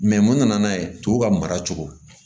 Mɛ mun nana n'a ye tuguw ka mara cogo